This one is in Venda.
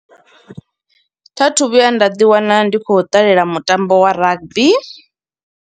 Tha thu vhuya nda ḓi wana ndi khou ṱalela mutambo wa rugby.